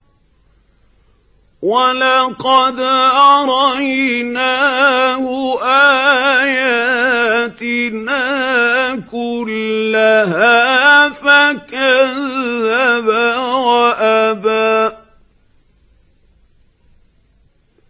وَلَقَدْ أَرَيْنَاهُ آيَاتِنَا كُلَّهَا فَكَذَّبَ وَأَبَىٰ